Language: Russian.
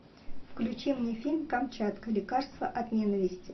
включи мне фильм камчатка лекарство от ненависти